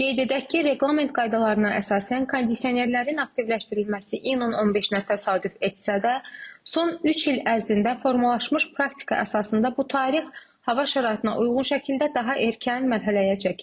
Qeyd edək ki, reqlament qaydalarına əsasən kondisionerlərin aktivləşdirilməsi iyunun 15-nə təsadüf etsə də, son üç il ərzində formalaşmış praktikaya əsasında bu tarix hava şəraitinə uyğun şəkildə daha erkən mərhələyə çəkilib.